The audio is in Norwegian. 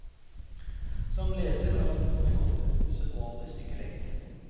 Som leser har han gått et usedvanlig stykke lenger.